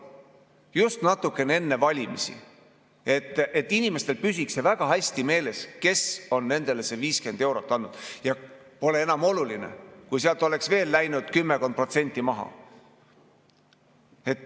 Just natuke enne valimisi, et inimestel püsiks väga hästi meeles, kes on nendele 50 eurot andnud, ja pole enam oluline, kui sealt oleks läinud veel kümmekond protsenti maha.